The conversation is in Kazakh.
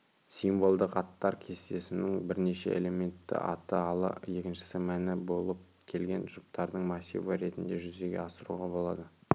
символдық аттар кестесінің бірінші элементті аты ал екіншісі мәні болып келген жұптардың массиві ретінде жүзеге асыруға болады